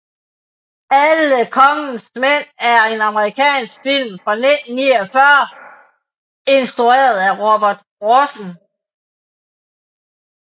Alle kongens mænd er en amerikansk film fra 1949 instrueret af Robert Rossen